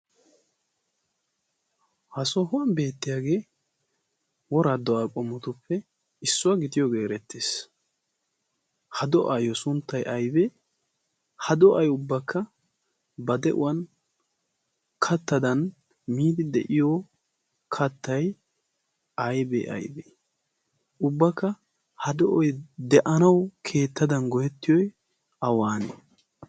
ha soohuwan beettiyaagee woraa do'aa qomotuppe issuwaa gitiyoogee erettees ha do'aayyo sunttai aibee ha do'ay ubbakka ba de'uwan kattadan miidi de'iyo kattay aybee aybee ubbakka ha do'oy de'anawu keettadan goyettiyoy awaanee?